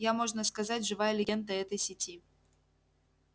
я можно сказать живая легенда этой сети